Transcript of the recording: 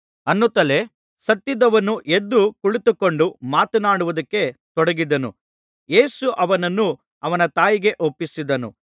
ಅನ್ನುತ್ತಲೇ ಸತ್ತಿದ್ದವನು ಎದ್ದು ಕುಳಿತುಕೊಂಡು ಮಾತನಾಡುವುದಕ್ಕೆ ತೊಡಗಿದನು ಯೇಸು ಅವನನ್ನು ಅವನ ತಾಯಿಗೆ ಒಪ್ಪಿಸಿದನು